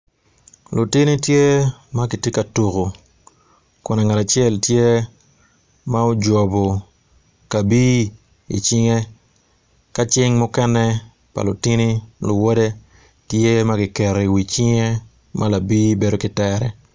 Lutini gitye ka tuku ngat acel ojobo kabir ma cing mukene kiketo i wi lawote kun cing mukene tye ki i tere.